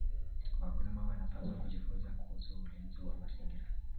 Wakulima wanapaswa kujifunza kuhusu ulinzi wa mazingira.